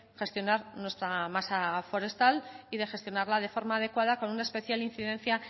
gestionar nuestra masa forestal y de gestionarla de forma adecuada con una especial incidencia